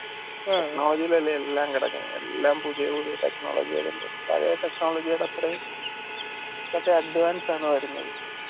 ആദ്യത്തേതിൽ അല്ലെ എല്ലാം കിടക്കുന്നെ എല്ലാം പുതിയ പുതിയത് technology വരുമ്പം പഴയെ technology അത്രയും മറ്റേ advance ആണ് വരുന്നത്